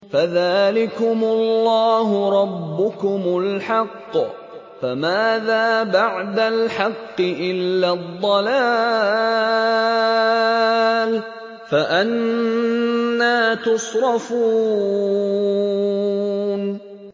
فَذَٰلِكُمُ اللَّهُ رَبُّكُمُ الْحَقُّ ۖ فَمَاذَا بَعْدَ الْحَقِّ إِلَّا الضَّلَالُ ۖ فَأَنَّىٰ تُصْرَفُونَ